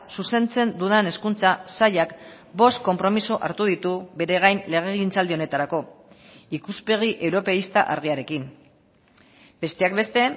zuzentzen dudan hezkuntza sailak bost konpromiso hartu ditu bere gain legegintzaldi honetarako ikuspegi europeista argiarekin besteak beste